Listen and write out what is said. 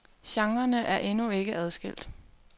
Genrerne er endnu ikke er adskilt.